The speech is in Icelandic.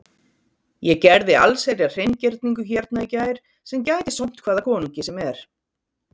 Ég gerði allsherjar hreingerningu hérna í gær sem gæti sómt hvaða konungi sem er.